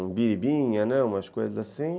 um biribinha, umas coisas assim.